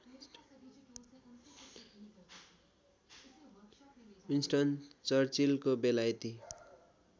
Winston चर्चिलको बेलायती